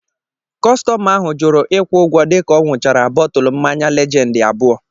Kọstọma ahụ jụrụ ịkwụ ụgwọ dịka ọ ṅuchara bọtụlu mmanya Lejendi abụọ